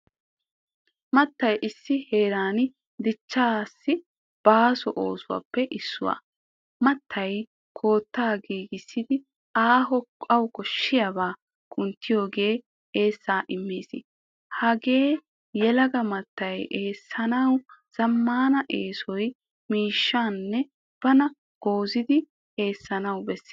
Mattay issi heeran dichcha baaso oosuwaappe issuwa. Mattay koottaa gigissidi ayyo koshshiyaba kunttiyogan eessaa immees. Hagee yeelaga mattay eessanawu zamaana essiyo miishashan bana goozzidi eessanawu bees.